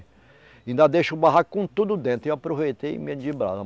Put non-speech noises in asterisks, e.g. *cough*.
Ainda deixo o barranco com tudo dentro, e eu aproveitei e *unintelligible*